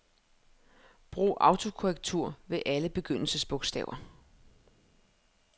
Brug autokorrektur ved alle begyndelsesbogstaver.